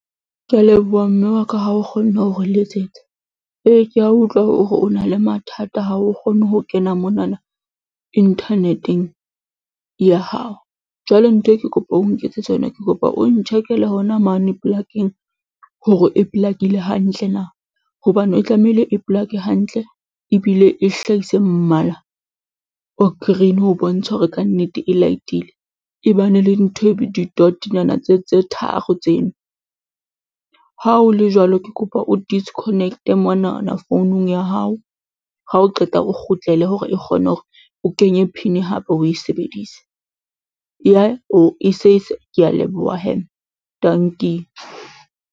Ke a leboha mme wa ka ha o kgonne hore letsetsa. Ee, ke a utlwa hore o na le mathata ha o kgone ho kena monana inthaneteng ya hao. Jwale nthwe ke kopa o nketsetsa yona, ke kopa o ntjhekele yona mane polakeng hore e polakeile hantle na hobane e tlamehile e polake hantle ebile e hlahise mmala o green ho bontsha hore ka nnete e light-ile, e ba ne le ntho e di-dot-nyana tse tharo tseno. Ha ho le jwalo, ke kopa o disconnect-e monana founung ya hao, ha o qeta o kgutlele hore e kgone hore o kenye PIN hape o be e sebedise ke a leboha hee. Dankie.